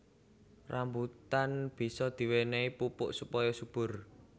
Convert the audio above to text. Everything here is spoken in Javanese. Rambutan bisa diwénéhi pupuk supaya subur